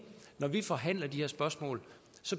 når vi forhandler de her spørgsmål